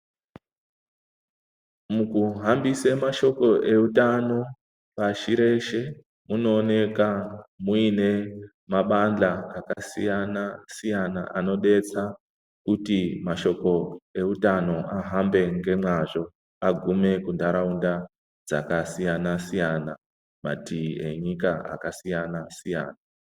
Mukuhambise mashoko eutano pashi reshe , munooneka muine mabandla akasiyana-siyana ,anodetsa kuti mashoko eutano ahambe ngemwazvo, agume muntaraunda dzakasiyana-siyana, matii enyika akasiyana-siyana.